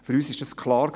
Für uns war es klar: